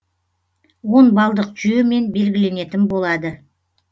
он балдық жүйемен белгіленетін болады